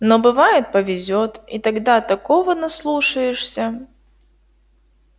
но бывает повезёт и тогда такого наслушаешься